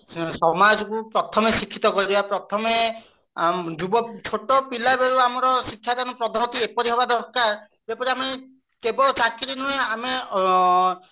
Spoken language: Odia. ସମାଜକୁ ପ୍ରଥମେ ଶିକ୍ଷିତ କରିବା ପ୍ରଥମେ ଯୁବକ ଛୋଟ ପିଲାବେଳୁ ଆମର ଶିକ୍ଷା ଦାନ ପଦ୍ଧତି ଏପରି ହବା ଦରକାର ଯେପରି ଆମେ କେବଳ ଚାକିରି ନୁହେଁ ଆମେ ଆଁ